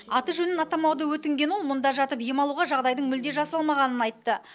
аты жөнін атамауды өтінген ол мұнда жатып ем алуға жағдайдың мүлде жасалмағанын айтты